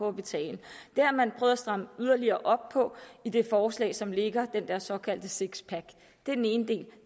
at betale det har man prøvet at stramme yderligere op på i det forslag som ligger den der såkaldte sixpack det er den ene del